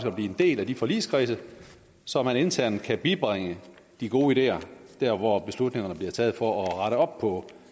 at blive en del af de forligskredse så man internt kan bibringe de gode ideer dér hvor beslutningerne bliver taget for at rette op på